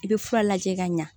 I bɛ fura lajɛ ka ɲa